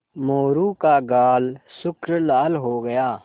मोरू का गाल सुर्ख लाल हो गया